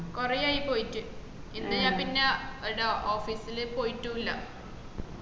കൊറേ ആയി പോയിറ്റ്‌ ഇന്ന് ഞാൻ പിന്നെ office പോയിട്ടുല്ല